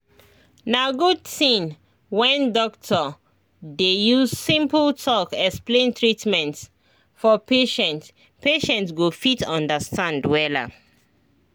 na good thing when doctor dey use simple talk explain treatment for patient patient go fit understand wella